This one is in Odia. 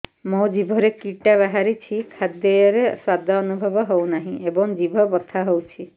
ମୋ ଜିଭରେ କିଟା ବାହାରିଛି ଖାଦ୍ଯୟରେ ସ୍ୱାଦ ଅନୁଭବ ହଉନାହିଁ ଏବଂ ଜିଭ ବଥା ହଉଛି